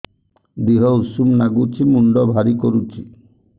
ଦିହ ଉଷୁମ ନାଗୁଚି ମୁଣ୍ଡ ଭାରି କରୁଚି